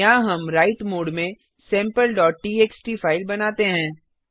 यहाँ हम write mode में sampleटीएक्सटी फाइल बनाते हैं